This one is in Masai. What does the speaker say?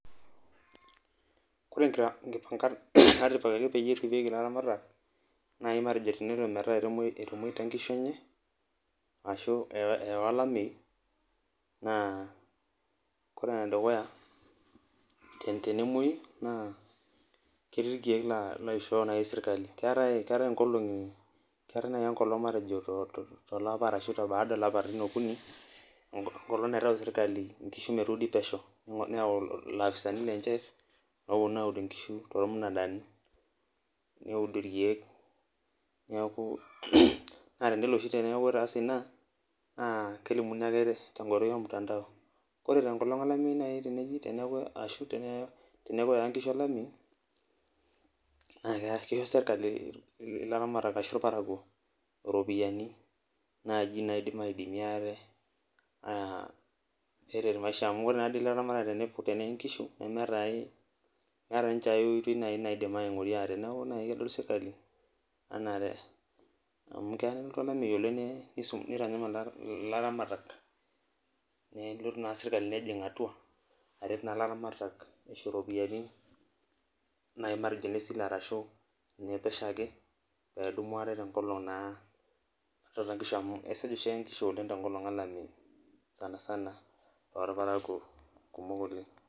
Koree nkipangat natipikaki peripieki laramatak naibmatejo tenelo ometaa etamoita nkishu enye ashubeyawa olameyu na ore enedukuya na tenkwoyu na keeta rkiek oisho serkali, keetai nai matejo enkolong naitau serkali metuudi nkishu pesho neyau lapisani lenye oponu aaud nkishu tormunadani neosh nkishu neaku teneloboshibtenwakubetaase ina nakelimuni ake tenkoitoi ormtandao, ore teneaku eyawa nkishu olamaleyu na kisho serkali laramatak ashu irparakuo ropiyani naidim araretie aate amu ore laramatak tenee nkishu nemeeta aai meeta nai ninche aioitoi naidim aingurie aate neakubnai kedol serkali anaa keya nelotu olameyu oleng nitanyamal laramatak nelotu na serkali nejing atua nisho ropiyiani matejo nai nesile ashu nepesho ake pedumubaate amu esuj oshi neye nkishu enkata olameyu sanasan torparakuo kumok oleng.